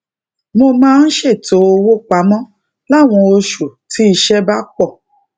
mo máa ń ṣètò owó pamó láwọn oṣù tí iṣé bá pò